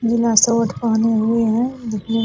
नीला suit पहने हुए है। दिखने --